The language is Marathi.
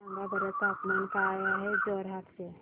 सांगा बरं तापमान काय आहे जोरहाट चे